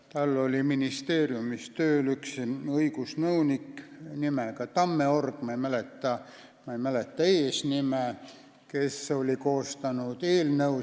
Tal oli ministeeriumis tööl õigusnõunik nimega Tammeorg , kes oli koostanud eelnõu.